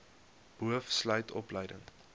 boov sluit opleiding